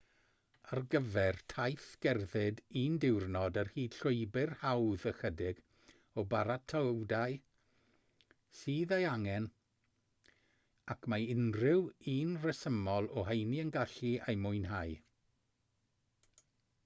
ar gyfer taith gerdded un diwrnod ar hyd llwybr hawdd ychydig o baratoadau sydd eu hangen ac mae unrhyw un rhesymol o heini yn gallu eu mwynhau